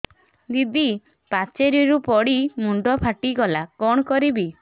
ଦିଦି ପାଚେରୀରୁ ପଡି ମୁଣ୍ଡ ଫାଟିଗଲା କଣ କରିବି